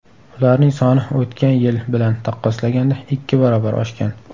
Ularning soni o‘tgan yil bilan taqqoslaganda ikki barobar oshgan.